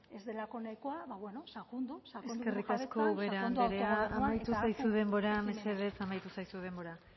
ez delako nahikoa ba beno sakondu sakondu eskerrik asko ubera andrea amaitu zaizu denbora mesedez amaitu zaizu denbora